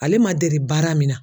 Ale ma deli baara min na